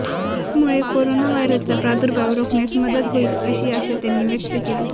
यामुळे करोना व्हायरसचा प्रादुर्भाव रोखण्यास मदत होईल अशी आशा त्यांनी व्यक्त केली